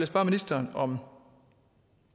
spørge ministeren om